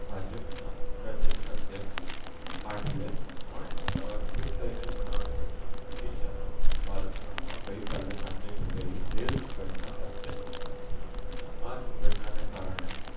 ભાજપ ના પ્રદેશ અધ્યક્ષ પાટિલે પણ અ ટ્વિટ કરી ને જણાવિયું હતું ઓડીસ્સા ના બાલેશ્વર માં ગઈ કાલે સાંજે ઘટેલી રેલ દુર્ઘટના અત્યંત દુખદ છે આ દુર્ઘટના ને કારણે